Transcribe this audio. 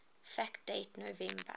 fact date november